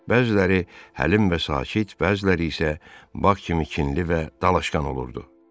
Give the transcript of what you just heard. Bəziləri hələm və sakit, bəziləri isə bak kimi kinli və dalaşqan olurdu.